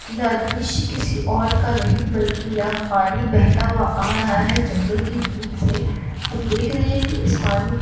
यह दृश्य किसी और का नही बल्कि यह पानी बहता हुआ आ रहा है। जंगल की धूप से हम देख रहे हैं इस पानी को --